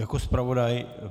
Jako zpravodaj.